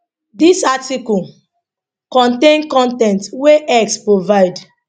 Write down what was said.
dis article contain con ten t wey x provide